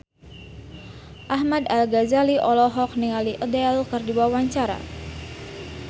Ahmad Al-Ghazali olohok ningali Adele keur diwawancara